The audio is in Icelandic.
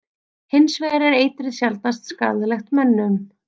Hins vegar er eitrið sjaldnast skaðlegt mönnum.